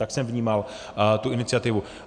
Tak jsem vnímal tu iniciativu.